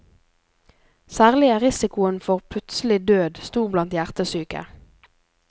Særlig er risikoen for plutselig død stor blant hjertesyke.